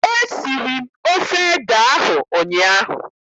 Esiri m ofe ede ahụ ụnyaahụ.